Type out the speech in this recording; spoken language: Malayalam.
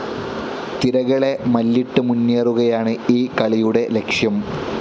തിരകളെ മല്ലിട്ട് മുന്നേറുകയാണ് ഈ കളിയുടെ ലക്ഷ്യം.